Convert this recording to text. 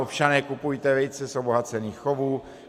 Občané, kupujte vejce z obohacených chovů.